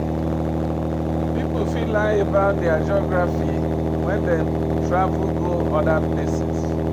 Pipo fit learn about their geography when dem travel go oda places